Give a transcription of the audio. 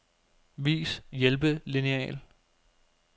Vis hjælpelineal.